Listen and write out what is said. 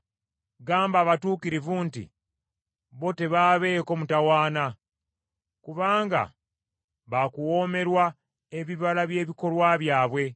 Gamba abatuukirivu nti bo tebaabeeko mutawaana, kubanga baakuwoomerwa ebibala by’ebikolwa byabwe.